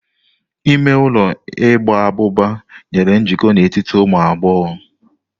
Ime ụlọ igba abụba nyere njikọ n'etiti ụmụ agbọghọ.